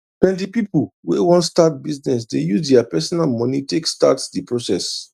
plenti pipu wey wan start business dey use dia personal moni take start d process